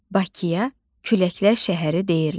Bakıya Küləklər şəhəri deyirlər.